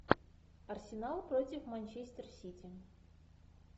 арсенал против манчестер сити